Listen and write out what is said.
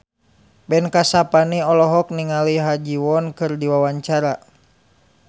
Ben Kasyafani olohok ningali Ha Ji Won keur diwawancara